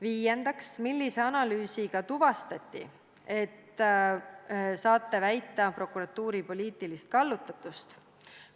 Viiendaks: millise analüüsiga tuvastati, et saate väita prokuratuuri poliitilist kallutatust?